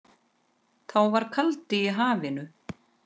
Þá var kaldi í hafinu.